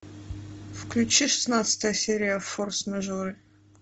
включи шестнадцатая серия форс мажоры